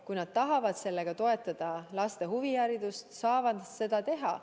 Kui nad tahavad sellega toetada laste huviharidust, saavad nad seda teha.